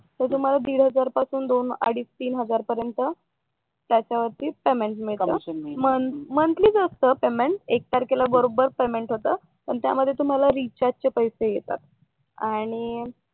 तर तुम्हाला दीडहजार पासून अडीच तीन हजार पर्यंत त्याच्यावर पेमेंट मिळणार मंथली असत पेमेंट एक तारखेला बरोबर पेमेंट होत पण त्यामध्ये तुम्हाला रिचार्ज चे पैसे येतात आणि